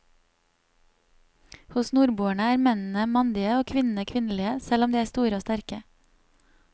Hos nordboerne er mennene mandige og kvinnene kvinnelige, selv om de er store og sterke.